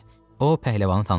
O pəhləvanı tanıdı.